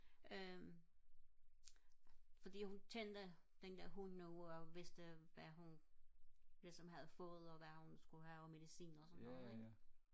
øhm fordi kendte den der hund og vidste hvad hun ligesom havde fået og hvad hun skulle have og medicin og sådan noget ikke